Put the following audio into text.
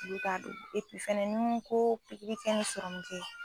N t'a don fɛnɛ nko pikiri kɛ ni serum kɛ.